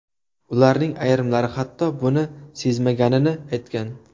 Ularning ayrimlari, hatto buni sezmaganini aytgan.